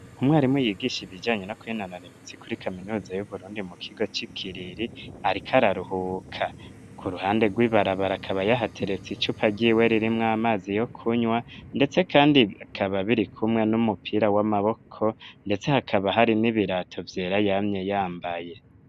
Umwarimu yigisha ibijanye no kwinonora imitsi kuri kaminuza yu Burundi mu kigo ca kiriri .Ariko araruhuka ku ruhande rw'ibarabara kaba yahateretse icupa ryiwe ririmwo amazi yo kunywa ndetse kandi akaba biri kumwe n'umupira w'amaboko ndetse hakaba hari n'ibirato vyera yamye yambaye.